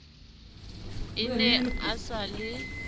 a ne a sa le